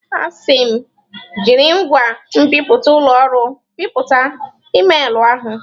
A sị m, jiri ngwa nbipute ụlọ ọrụ bipụta emailụ ahụ!